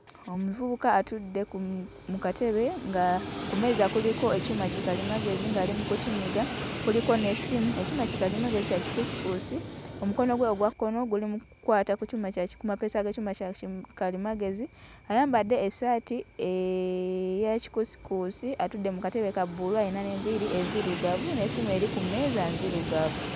Omuvubuka atudde ku mu katebe nga ku mmeeza kuliko ekyuma kikalimagezi ng'ali mu kukinyiga, kuliko n'essimu. Ekyuma kikalimagezi kya kikuusikuusi, omukono gwe ogwa kkono guli mu kukwata ku kyuma kya ki, ku mapeesa g'ekyuma kya kikalimagezi ayambadde essaati eya kikuusikuusi atudde mu katebe ka bbulu ayina n'enviiri enzirugavu n'essimu eri ku mmeeza nzirugavu.